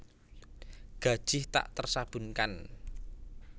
Gajih tak tersabunkan